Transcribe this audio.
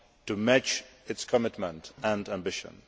to match its commitment and ambition.